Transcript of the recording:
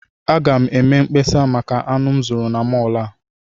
Aga m eme mkpesa maka anụ m zụrụ na mọọlụ a.